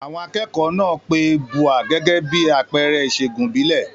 Àwọn akẹ́kọ̀ọ́ náà pe Ubwa gẹ́gẹ́ bí àpẹẹrẹ ìṣègùn ìbílẹ̀.